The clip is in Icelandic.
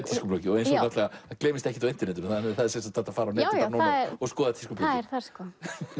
gleymist ekkert á internetinu það er hægt að fara á netið og skoða tískubloggið það er þar sko